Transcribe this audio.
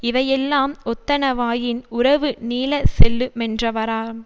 இவையெல்லாம் ஒத்தனவாயின் உறவு நீளச் செல்லு மென்றவாறாம்